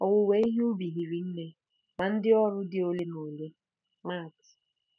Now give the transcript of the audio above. “Owuwe ihe ubi hiri nne, ma ndị ọrụ dị ole na ole .”—MAT.